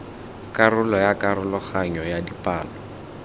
karolo ya karologanyo ya dipalo